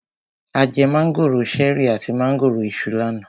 A jẹ mángòrò ṣẹ̀rí àti mángòrò Iṣu lánàá.